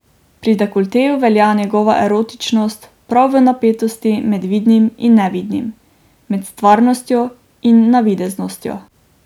Pri dekolteju velja njegova erotičnost prav v napetosti med vidnim in nevidnim, med stvarnostjo in navideznostjo.